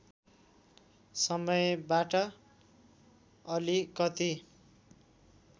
समयबाट अलिकति